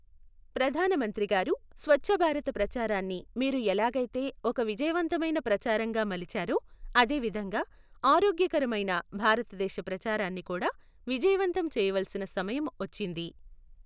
ప్రధానమంత్రి గారూ, స్వఛ్ఛభారత ప్రచారాన్ని మీరు ఎలాగైతే ఒక విజయవంతమైన ప్రచారంగా మలిచారో, అదే విధంగా ఆరోగ్యకరమైన భారతదేశ ప్రచారాన్ని కూడా విజయవంతం చెయ్యవలసిన సమయం వచ్చింది.